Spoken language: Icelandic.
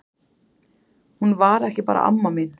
Hún var ekki bara amma mín.